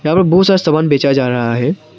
यहां पर बहोत सारा सामान बेचा जा रहा है।